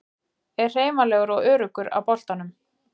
Er hreyfanlegur og öruggur á boltanum.